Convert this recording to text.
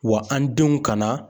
Wa an denw kana